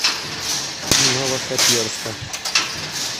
новохоперска